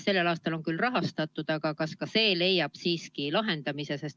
Sellel aastal on see küll rahastatud, aga kas see tagab probleemi lahendamise?